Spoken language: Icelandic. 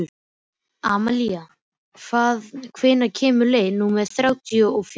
Amalía, hvenær kemur leið númer þrjátíu og fjögur?